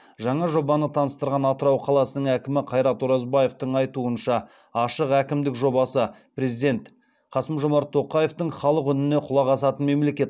жаңа жобаны таныстырған атырау қаласының әкімі қайрат оразбаевтың айтуынша ашық әкімдік жобасы президент қасым жомарт тоқаевтың халық үніне құлақ асатын мемлекет